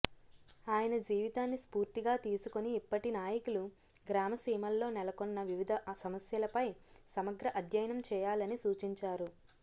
ఆయన జీవితాన్ని స్ఫూర్తిగా తీసుకుని ఇప్పటి నాయకులు గ్రామ సీమల్లో నెలకొన్న వివిధ సమస్యలపై సమగ్ర అధ్యయనం చేయాలని సూచించారు